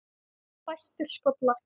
Fæstir skollar